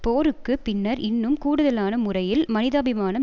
போருக்கு பின்னர் இன்னும் கூடுதலான முறையில் மனிதாபிமானம்